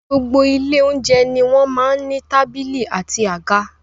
Gbogbo ile olounjẹ ní wọn máa n ní tábìlì àti àga